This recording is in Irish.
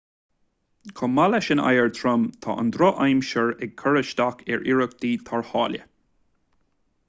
chomh maith leis an oighear trom tá an drochaimsir ag cur isteach ar iarrachtaí tarrthála